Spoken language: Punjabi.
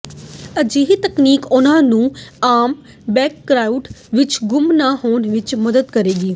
ਅਜਿਹੀ ਤਕਨੀਕ ਉਨ੍ਹਾਂ ਨੂੰ ਆਮ ਬੈਕਗ੍ਰਾਉਂਡ ਵਿੱਚ ਗੁੰਮ ਨਾ ਹੋਣ ਵਿੱਚ ਮਦਦ ਕਰੇਗੀ